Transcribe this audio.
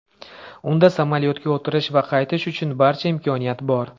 Unda samolyotga o‘tirish va qaytish uchun barcha imkoniyat bor.